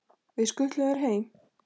Við skutlum þér heim!